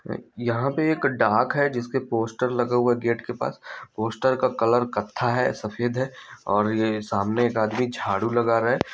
यहाँ पे एक डाक है जिसके पोस्टर लगा हुआ है गेट के पास पोस्टर का कलर कत्था है सफेद है और ये सामने एक आदमी झाड़ू लगा रहा है।